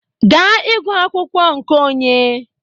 Ga ịgụ akwụkwọ nke onye